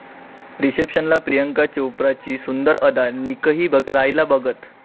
रिसेप्शनला प्रियांका चोप्राची सुंदर अदा, निकही राहिला बघत